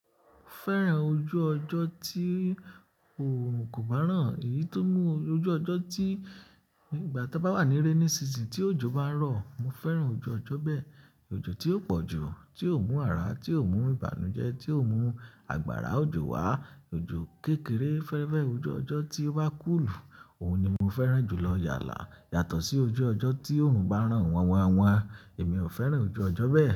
Mo fẹ́ràn ojú ọjọ́ tí òòrùn kò bá ràn. Èyí tó mú ojú ọjọ́ tí ìgbà ta bá wà ní rainy season tí òjò bá ń rọ̀, mo fẹ́ràn ojú ọjọ́ bẹ́ẹ̀. Ojo tí ó pọ̀jù, tí ó mú ara, tí ó mú ìbànújẹ́, tí ó mú agbára òjò wá. Ojo kékeré. Mo fẹ́ràn ojú ọjọ́ tí ó bá kú ìlù. Òun ni mo fẹ́ràn jù lọ yálà yàtọ̀ sí ojú ọjọ́ tí òòrùn bá rán wọ́n wọ́n wọ́n. Èmi ò fẹ́ràn ojú ọjọ́ bẹ́ẹ̀.